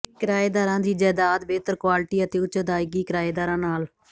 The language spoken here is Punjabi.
ਕਿਰਾਏਦਾਰਾਂ ਦੀ ਜਾਇਦਾਦ ਬਿਹਤਰ ਕੁਆਲਟੀ ਅਤੇ ਉੱਚ ਅਦਾਇਗੀ ਕਿਰਾਏਦਾਰਾਂ ਨਾਲ